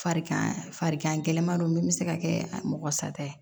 Farigan farigan gɛlɛman min bɛ se ka kɛ mɔgɔ sata ye